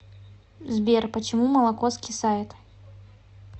сбер почему молоко скисает